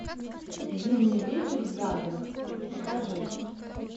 зимний вечер в гаграх покажи